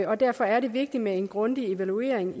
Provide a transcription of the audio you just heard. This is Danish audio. og derfor er det vigtigt med en grundig evaluering